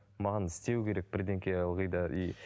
маған істеу керек ылғи да и